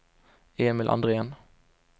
Emil Andrén